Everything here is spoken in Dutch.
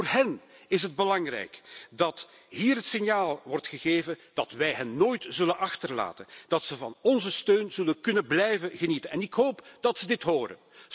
Wel, voor hen is het belangrijk dat hier het signaal wordt gegeven dat wij hen nooit zullen achterlaten, dat ze onze steun zullen kunnen blijven genieten, en ik hoop dat ze dit horen.